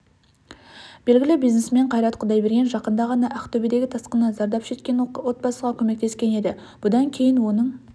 белгілі бизнесмен қайрат құдайберген жақында ғана ақтөбедегі тасқыннан зардап шеккен отбасыға көмектескен еді бұдан кейін оның